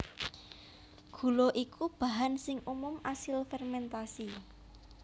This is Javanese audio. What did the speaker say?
Gula iku bahan sing umum asil fermèntasi